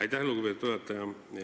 Aitäh, lugupeetud juhataja!